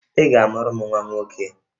Ị ga-amụrụ m nwa nwoke!